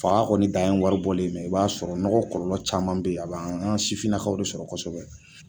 Fa kɔni dan ye wari bɔlen i b'a sɔrɔ nɔgɔ kɔlɔlɔ caman be yen, a bɛ an sifinnakaw de sɔrɔ kosɛbɛ